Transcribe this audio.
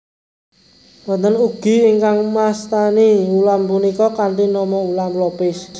Wonten ugi ingkang mastani ulam punika kanthi nama Ulam Lopis